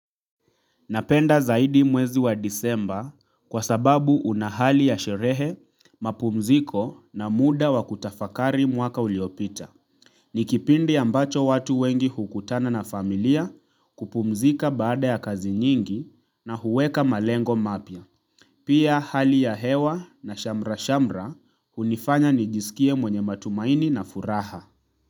Napenda zaidi mwezi wa desemba kwa sababu unahali ya sherehe, mapumziko na muda wa kutafakari mwaka uliopita. Nikipindi ambacho watu wengi hukutana na familia kupumzika baada ya kazi nyingi na huweka malengo mapya. Pia hali ya hewa na shamra-shamra hunifanya nijisikie mwenye matumaini na furaha.